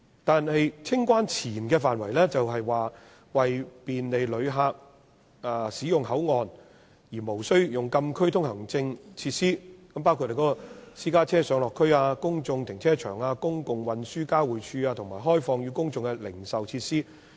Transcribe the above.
但是，清關前的範圍是為便利旅客使用口岸而無需用禁區通行證進入的設施，包括私家車上落區、公眾停車場、公共運輸交匯處及開放予公眾的零售設施。